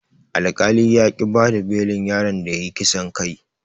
Alkali yaƙi bada belin yaron da yayi kisan kai.